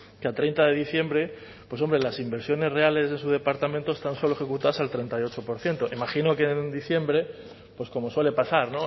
que a treinta de diciembre pues hombre las inversiones reales de su departamento están solo ejecutadas al treinta y ocho por ciento imagino que en diciembre pues como suele pasar